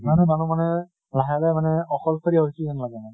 সিমানে মানুহ মানে লাহে লাহে মানে অলকসৰিয়া হৈছে যেন লাগে মানে।